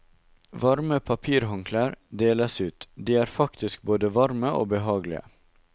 Varme papirhåndklær deles ut, de er faktisk både varme og behagelige.